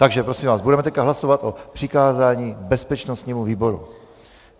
Takže prosím vás, budeme teď hlasovat o přikázání bezpečnostnímu výboru.